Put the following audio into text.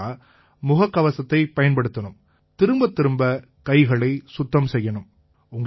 அடுத்ததா முகக்கவசத்தைப் பயன்படுத்தணும் திரும்பத்திரும்ப கைகளை சுத்தம் செய்யணும்